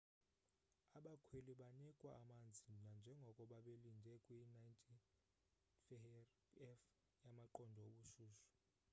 abakhweli banikwa amanzi nanjengoko babelinde kwi 90f- yamaqondo obushushu